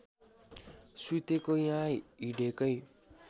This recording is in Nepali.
सुतेको या हिँडेकै